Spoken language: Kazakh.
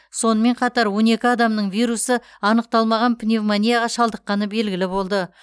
сонымен қатар он екі адамның вирусы анықталмаған пневмонияға шалдыққаны белгілі болды